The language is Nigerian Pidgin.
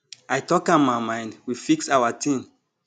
i talk am my mind we fix our ting